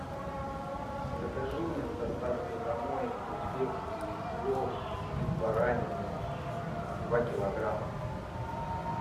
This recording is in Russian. закажи мне с доставкой домой узбекский плов из баранины два килограмма